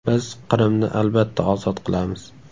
Biz Qrimni albatta ozod qilamiz.